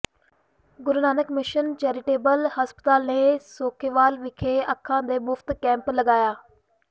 ਗੁਰੂ Nanak mission charitable ਹਸਪਤਾਲ ਨੇ ਸੇਖੋਵਾਲ ਵਿਖੇ ਅੱਖਾਂ ਦੇ ਮੁਫ਼ਤ ਕੈਂਪ ਲਗਾਇਆ